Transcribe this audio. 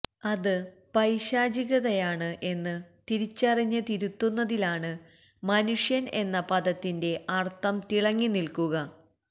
അത് പൈശാചികതയാണ് എന്ന് തിരിച്ചറിഞ്ഞ് തിരുത്തുന്നതിലാണ് മനുഷ്യൻ എന്ന പദത്തിന്റെ അർത്ഥം തിളങ്ങി നിൽക്കുക